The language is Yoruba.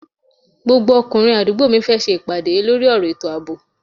Gbogbo ọkùnrin àdúgbò mi fẹ́ ṣe ìpàdé lórí ọ̀rọ̀ ètò àbò